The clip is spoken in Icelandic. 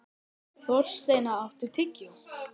Þorsteina, áttu tyggjó?